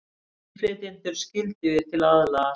Innflytjendur skyldugir til að aðlagast